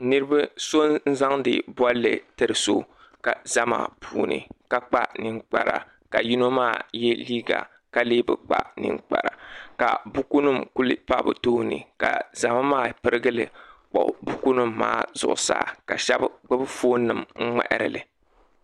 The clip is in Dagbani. So n zaŋdi bolli n tiri so zama puuni ka kpa ninkpara ka yino maa ye liiga ka lee bi kpa ninkpara ka bukunima pa bɛ tooni ka zama maa pirigili wuɣi buku nima maa zuɣusaa sheba gbibi fooni nima ŋmaaharili.